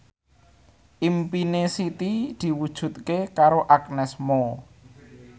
impine Siti diwujudke karo Agnes Mo